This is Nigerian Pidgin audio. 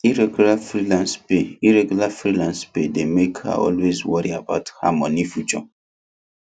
irregular freelance pay irregular freelance pay dey make her always worry about her money future